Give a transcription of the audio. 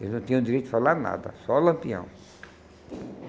Eles não tinham direito de falar nada, só Lampião.